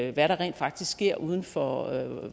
i hvad der rent faktisk sker uden for